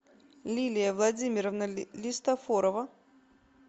лилия владимировна листофорова